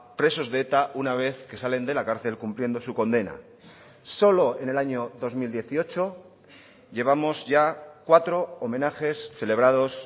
presos de eta una vez que salen de la cárcel cumpliendo su condena solo en el año dos mil dieciocho llevamos ya cuatro homenajes celebrados